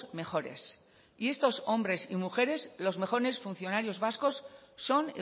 mejores y estos hombres y mujeres los mejores funcionarios vascos son